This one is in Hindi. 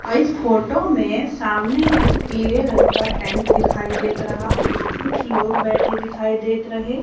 इस फोटो में सामने एक पीले रंग का टैंट दिखाई देत रहा कुछ लोग बैठे दिखाई देत रहे।